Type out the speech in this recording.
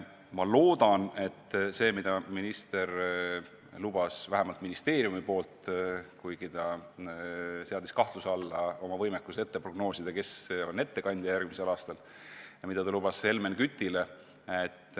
Ma loodan, et see, mida minister ministeeriumi nimel Helmen Kütile vastates lubas – ta küll seadis kahtluse alla oma võimekuse prognoosida, kes teeb selle ettekande järgmisel aastal –, saab teoks.